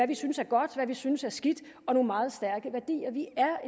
vi synes er godt hvad vi synes er skidt og nogle meget stærke værdier vi er